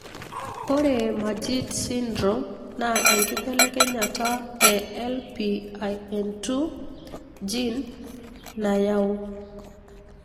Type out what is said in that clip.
ore Majeed sydrome na enkibelekenyata e LPIN2 gene nayau.